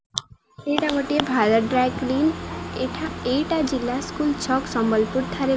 ଏଇଟା ଗୋଟିଏ Bharat dry clean ଏଇଠା ଏଇଟା ଜିଲ୍ଲା ସ୍କୁଲ ଛକ ସମ୍ବଲପୁର ଠାରେ --